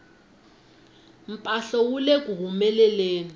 mphahlo wu leku humeleleni